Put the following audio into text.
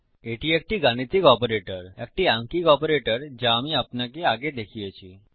এটি একটি গাণিতিক অপারেটর একটি আঙ্কিক অপারেটর যা আমি আপনাকে আগে দেখিয়েছি